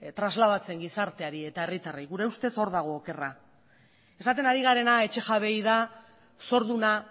trasladatzen gizarteari eta herritarrei gure ustez hor dago okerra esaten ari garena etxe jabeei da zorduna